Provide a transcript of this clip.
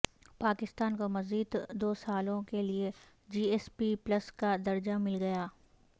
پاکستان کو مزید دوسالوں کےلئے جی ایس پی پلس کا درجہ مل گیا